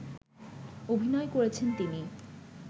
অভিনয় করেছেন তিনি